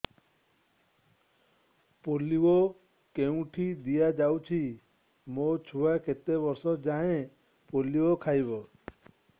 polio କେଉଁଠି ଦିଆଯାଉଛି ମୋ ଛୁଆ କେତେ ବର୍ଷ ଯାଏଁ ପୋଲିଓ ଖାଇବ